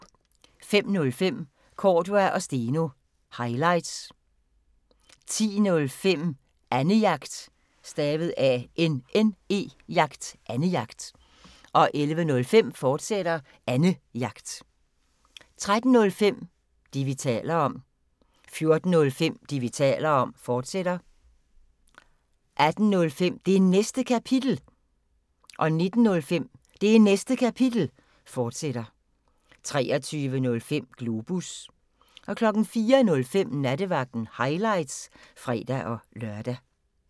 05:05: Cordua & Steno – highlights 10:05: Annejagt 11:05: Annejagt, fortsat 13:05: Det, vi taler om 14:05: Det, vi taler om, fortsat 18:05: Det Næste Kapitel 19:05: Det Næste Kapitel, fortsat 23:05: Globus 04:05: Nattevagten – highlights (fre-lør)